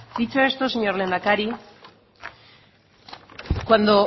dicho esto señor lehendakari cuando